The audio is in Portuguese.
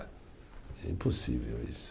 É impossível isso.